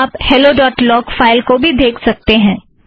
आप hello dot log file को भी देखें